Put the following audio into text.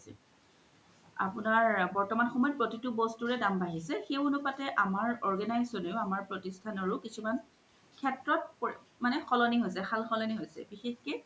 আপুনাৰ বৰ্তমান সমতে প্ৰোতিতো বস্তুৰে দাম বাঢ়িছে সেই আনুপাতে আমাৰ organization ও আমাৰ প্ৰতিস্থানও কিছুমান সেস্ত্ৰত মানে সাল সলনি হৈছে বিষসকে